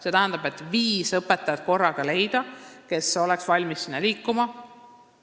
See tähendab, et korraga on vaja leida viis õpetajat, kes oleks valmis sinna liikuma.